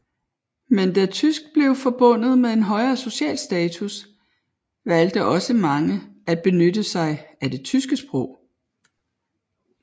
Men da tysk blev forbundet med en højere social status valgte også mange at benytte sig af det tyske sprog